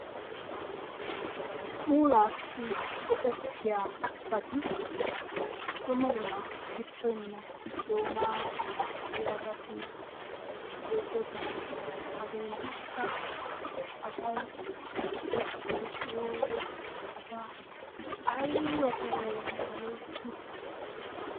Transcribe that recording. Puulassi go'etiyaabati dumma dumma shittoynne doona tiyoobati beettoosona. haggetikka asay tiyeetiddi kiyiyoo wode asay aybba loytti